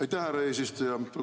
Aitäh, härra eesistuja!